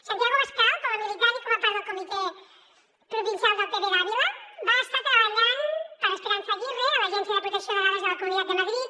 santiago abascal com a militant i com a part del comitè provincial del pp d’àvila va estar treballant per esperanza aguirre a l’agència de protecció de dades de la comunitat de madrid